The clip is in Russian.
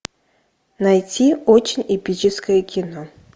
найти очень эпическое кино